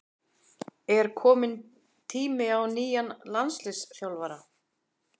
Er kominn tími á nýja landsliðsþjálfara?